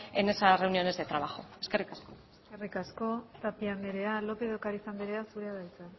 en esas reuniones de trabajo eskerrik asko eskerrik asko tapia andrea lópez de ocariz andrea zurea da hitza